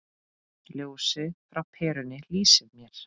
Ljósið frá perunni lýsir mér.